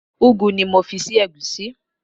Ugu ni mo fi sí ẹ̀gúsí.